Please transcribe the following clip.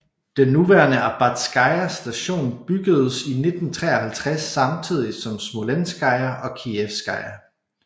Den nuværende Arbatskaja station bygedes i 1953 samtidigt som Smolenskaja og Kijevskaja